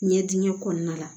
Ɲɛdingɛ kɔnɔna la